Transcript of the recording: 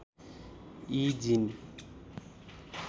यी जीन